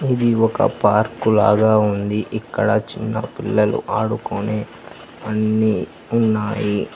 ఇది ఒక పార్కు లాగా ఉంది ఇక్కడ చిన్న పిల్లలు ఆడుకొని అన్ని ఉన్నాయి.